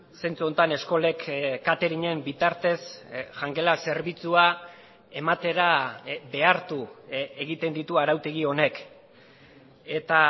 zentzu honetan eskolek cateringen bitartez jangela zerbitzua ematera behartu egiten ditu arautegi honek eta